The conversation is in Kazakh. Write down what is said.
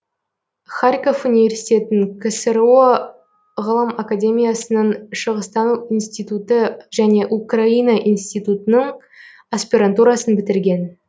харьков университетін ксро ғылым академиясының шығыстану институты және украина институтының аспирантурасын бітірген